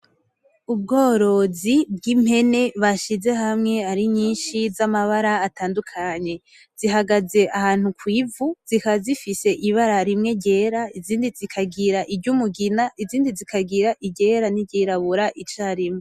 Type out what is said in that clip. Ubworozi bw'impene bashize hamwe ari nyinshi z'amabara atandukanye, zihagaze ahantu kw'ivu zikaba zifise ibara rimwe ryera, izindi zikagira iryumugina, izindi zikagira iryera niryirabura icarimwe.